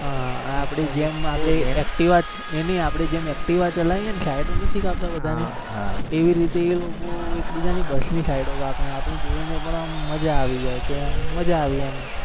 હા આપણે જેમ આપણે જેમ એકટિવા ચલાઈએ ને side નથી કાપતા બધા ની? એવીરીતે એ લોકો એકબીજાઅ ની બસ ની side કાપે અને આપણે જોઈને મજા આવી જાય કે આમ મજા આવી એમહવે ને ત્યાં ગાડી થોડી તકલીફ પડી જાય કેમ કે પેલા નાના એવું નઈ પેલા નાના ત્યાં તો વજન પણ ઓછું હતું એટલે ફટાફટ ચડી જતા હાઇટ નાની હતી ત્યારે વજન પણ વધી ગઈ છે. મારું અત્યારે એવું છે એટલે પાછા છે મારું.